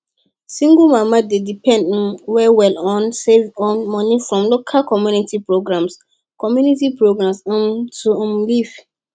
single mama dey depend um well well on money from local community programs community programs um to um live